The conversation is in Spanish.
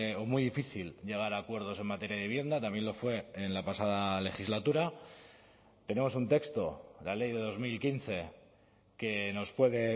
o muy difícil llegar a acuerdos en materia de vivienda también lo fue en la pasada legislatura pero es un texto la ley de dos mil quince que nos puede